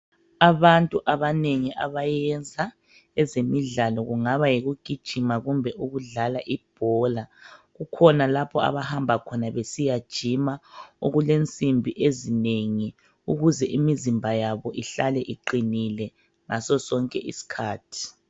Abantu abanengi abayenza, ezemidlalo kungaba yikugijima kumbe ukudlala ibhola, kukhona lapho abahamba khona besiyajima okulensimbi ezinengi ukuze imizimba yabo ihlale iqinile ngaso nkisikhathi.